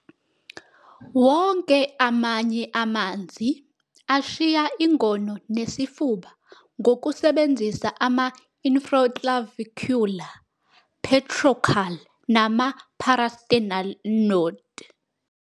Wonke amanye amanzi ashiya ingono nesifuba ngokusebenzisa ama-infroclavicular, pectoral, noma ama-parasternal node.